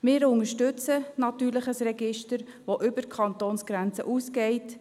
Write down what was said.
Wir unterstützen natürlich ein Register, welches über die Kantonsgrenzen hinausgeht.